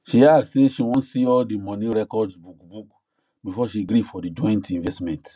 she ask say she wan see all the money records book book before she gree for the joint investment